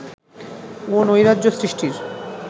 ও নৈরাজ্য সৃষ্টির